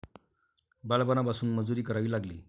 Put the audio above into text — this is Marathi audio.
बालपणापासून मजुरी करावी लागली.